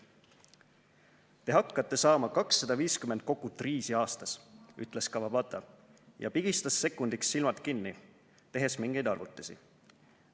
"Te hakkate saama kakssada viiskümmend kokut riisi aastas," ütles Kawabata ja pigistas sekundiks silmad kinni, tehes mingeid arvutusi.